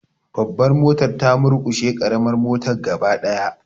Babbar motar ta murkushe karamar motar gaba daya.